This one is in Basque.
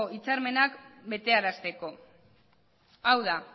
hitzarmenak betearazteko hau da